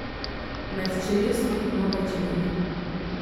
Med čeljustmi ima pajčevine.